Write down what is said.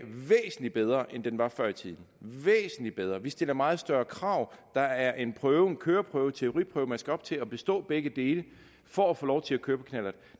er væsentlig bedre end den var før i tiden den væsentlig bedre vi stiller meget større krav der er en køreprøve teoriprøve man skal op til og bestå begge dele for at få lov til at køre knallert